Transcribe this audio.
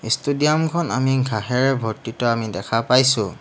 Stadium খন আমি ঘাঁহেৰে ভৰ্তিত আমি দেখা পাইছোঁ।